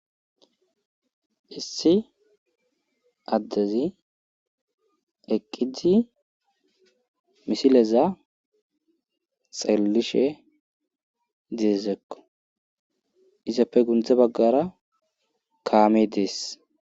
issi addezi eqqii misileza xellishe deezekko isappe gundze baggara kaame dees